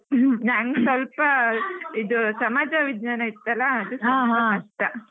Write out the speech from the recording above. ನಂಗ್ ಸ್ವಲ್ಪ ಇದು ಸಮಾಜ ವಿಜ್ಞಾನ ಇತ್ತಲ್ಲ ಕಷ್ಟ.